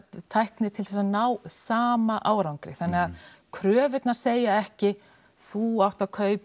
tækni til að ná sama árangri þannig að kröfurnar segja ekki þú átt að kaupa